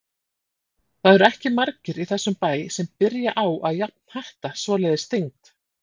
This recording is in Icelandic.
Það eru ekki margir í þessum bæ sem byrja á að jafnhatta svoleiðis þyngd.